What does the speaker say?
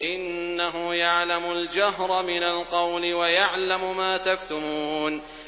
إِنَّهُ يَعْلَمُ الْجَهْرَ مِنَ الْقَوْلِ وَيَعْلَمُ مَا تَكْتُمُونَ